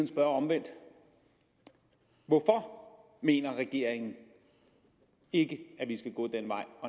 spørge omvendt hvorfor mener regeringen ikke at vi skal gå den vej